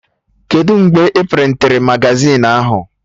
Kedụ mgbe a prịntịrị magazin ahụ?